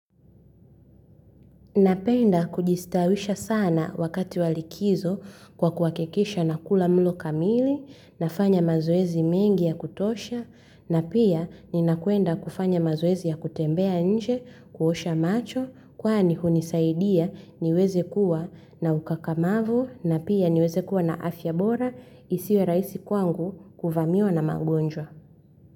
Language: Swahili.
Napenda kujistawisha sana wakati wa likizo kwa kuhakikisha na kula mlo kamili, nafanya mazowezi mengi ya kutosha, na pia ninakwenda kufanya mazowezi ya kutembea nje, kuosha macho, kwani hunisaidia niweze kuwa na ukakamavu, na pia niweze kuwa na afya bora, isiwe rahisi kwangu kuvamiwa na magonjwa.